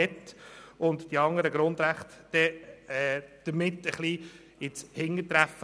Damit gerieten die anderen Grundrechte ein Stück weit ins Hintertreffen.